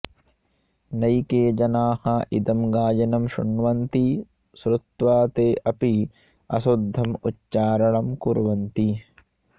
नैके जनाः इदं गायनं शृण्वन्ति श्रुत्वा ते अपि अशुद्धम् उच्चारणं कुर्वन्ति